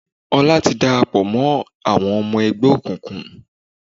Ọlá ti dàràpọ̀ mọ́ àwọn ọmọ ẹgbẹ́ òkùnkùn.